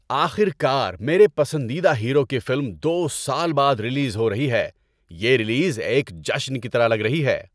آخر کار میرے پسندیدہ ہیرو کی فلم دو سال بعد ریلیز ہو رہی ہے، یہ ریلیز ایک جشن کی طرح لگ رہی ہے۔